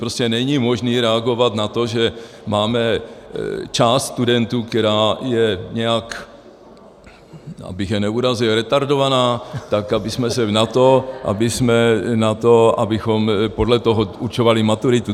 Prostě není možné reagovat na to, že máme část studentů, která je nějak - abych je neurazil - retardovaná, tak abychom podle toho určovali maturitu.